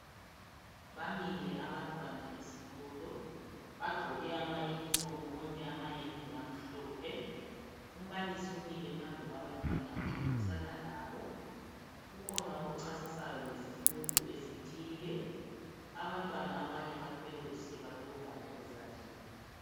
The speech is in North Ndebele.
Bamile abantwana esikolo bagqoke ama uniform bonke amayembe amhlophe umbalisi umile phambi kwabantwana uxoxisana labo kukhona okuchasisayo ngesifundo esithile abantwana abanye bathwele usiba lokubhala ezandleni.